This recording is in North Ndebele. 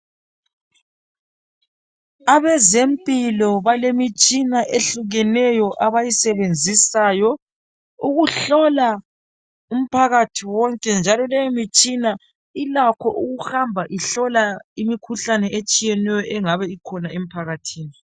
Abezempilo balemitshina ehlukeneyo abayisebenzisayo ukuhlola umphakathi wonke njalo leyo mitshina ilakho ukuhamba ihlola imikhuhlane etshiyeneyo engabe ikhona emphakathini.